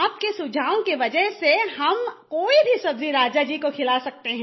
आपके सुझाव की वजह से अब हम कोई भी सब्जी राजा जी को खिला सकते हैं